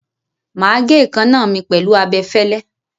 Màá gé èékánná mi pẹ̀lú abẹfẹ́lẹ́.